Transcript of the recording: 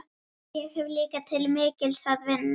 En ég hef líka til mikils að vinna.